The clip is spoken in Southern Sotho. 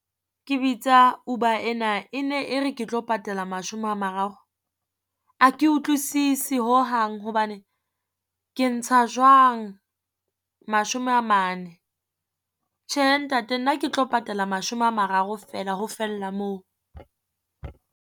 Ke bitsa Uber ena e ne e re ke tlo patala mashome a mararo. A ke utlwisisi hohang hobane ke ntsha jwang mashome a mane. Tjhe ntate nna ke tlo patala mashome a mararo feela ho fella moo.